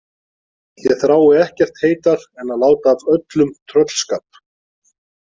Ég þrái ekkert heitar en að láta af öllum tröllskap.